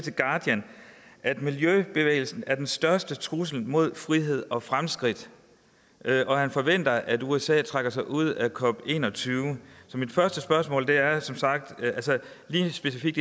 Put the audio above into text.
at miljøbevægelsen er den største trussel mod frihed og fremskridt og at han forventer at usa trækker sig ud af cop21 så mit første spørgsmål er lige specifikt